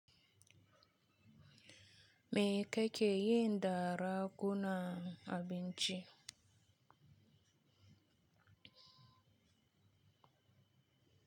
Me kake yi da ragu nan abinci?